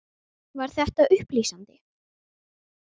Var þetta upplýsandi?